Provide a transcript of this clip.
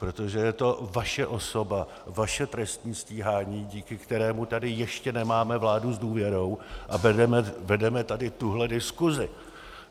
Protože je to vaše osoba, vaše trestní stíhání, díky kterému tady ještě nemáme vládu s důvěrou a vedeme tady tuhle diskusi.